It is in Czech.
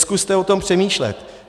Zkuste o tom přemýšlet.